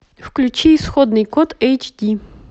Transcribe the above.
включи исходный код эйч ди